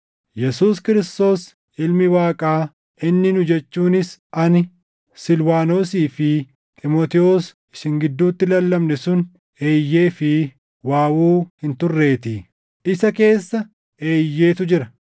Yesuus Kiristoos Ilmi Waaqaa inni nu jechuunis ani, Silwaanosii fi Xiimotewos isin gidduutti lallabne sun, “Eeyyee” fi “Waawuu” hin turreetii; isa keessa “Eeyyeetu” jira.